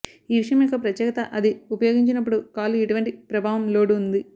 ఈ విషయం యొక్క ప్రత్యేకత అది ఉపయోగించినప్పుడు కాళ్లు ఎటువంటి ప్రభావం లోడ్ ఉంది